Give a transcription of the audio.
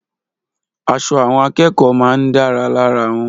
Aṣọ àwọn akẹ́kọ̀ọ́ máa ń dára lára wọn.